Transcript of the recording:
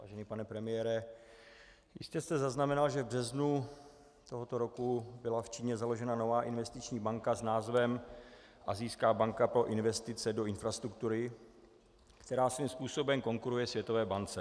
Vážený pane premiére, jistě jste zaznamenal, že v březnu tohoto roku byla v Číně založena nová investiční banka s názvem Asijská banka pro investice do infrastruktury, která svým způsobem konkuruje Světové bance.